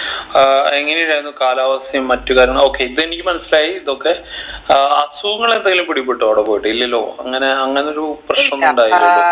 ഏർ എങ്ങനെ ഇണ്ടായിരുന്നു കാലാവസ്ഥയും മറ്റു കാര്യങ്ങൾ okay ഇതെനിക്ക് മനസ്സിലായി ഇതൊക്കെ ആഹ് അസുഖങ്ങൾ എന്തേലും പിടിപെട്ടോ അവിടെപോയിട്ട് ഇല്ലല്ലോ അങ്ങനെ അങ്ങനൊരു പ്രശ്‌നം ഉണ്ടായില്ലല്ലോ